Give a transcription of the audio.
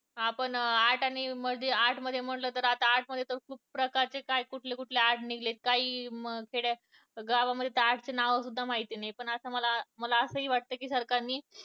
आपण art आणि art मध्ये म्हणलं तर आता art मध्ये तर खूप प्रकारचे काय कुठले कुठले art निघले काही खेड्यात गावामध्ये तर art च नावंसुद्धा माहिती नाही. पण असं मला असंही वाटतं सरकारने